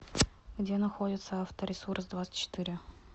где находится авторесурсдвадцатьчетыре